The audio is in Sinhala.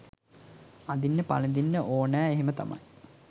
අඳින්න පළඳින්න ඕනා එහෙම තමයි.